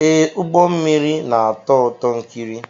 Ee, ụgbọ mmiri na-atọ ụtọ ikiri!